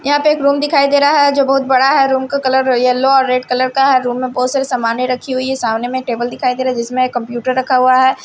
यहां एक रूम दिखाई दे रहा है जो बहुत बड़ा है रूम का कलर येलो और रेड कलर का है रूम में बहुत सारे सामानें रखी हुई है सामने में टेबल दिखाई दे रहा है जिसमें कंप्यूटर रखा हुआ है।